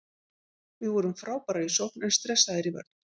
Við vorum frábærir í sókn en stressaðir í vörn.